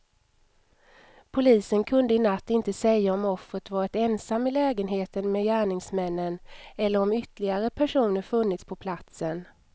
Polisen kunde i natt inte säga om offret varit ensam i lägenheten med gärningsmännen eller om ytterligare personer funnits på platsen.